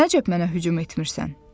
Nəcəb mənə hücum etmirsən?